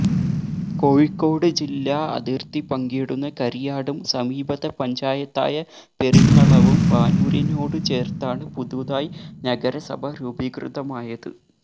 കോഴിക്കോട് ജില്ലാ അതിര്ത്തി പങ്കിടുന്ന കരിയാടും സമീപത്തെ പഞ്ചായത്തായ പെരിങ്ങളവും പാനൂരിനോടു ചേര്ത്താണ് പുതുതായി നഗരസഭ രൂപീകൃതമായത്